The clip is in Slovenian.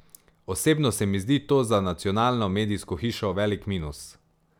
Osebno se mi zdi to za nacionalno medijsko hišo velik minus.